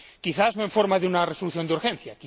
Quizás, no en forma de una resolución de urgencia.